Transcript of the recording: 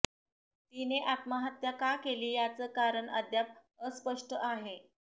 तिने आत्महत्या का केली याचं कारण अद्याप अस्पष्ट आहे